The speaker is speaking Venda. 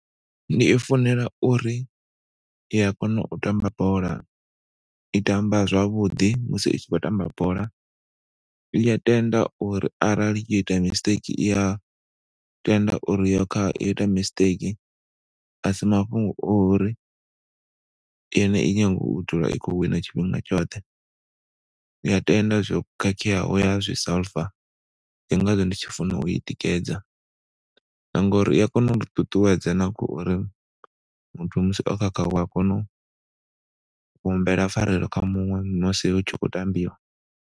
Ndi i funela uri iya kona u tamba bola i tamba zwavhuḓi musi i si khou tamba bola i ya tenda uri arali yo ita mistake i ya tenda uri yo kha ita mistake asi mafhungo ori dzula i khou wina tshifhinga tshoṱhe. Iya tenda zwo khakheaho ya zwi solver ndi ngazwo ndi tshi funa u i tikedza na ngauri i ya kona u ḓi ṱuṱuwedza na khouri muthu musi o khakha wa kona u humbela pfarelo kha muṅwe musi hu tshi khou tambiwa.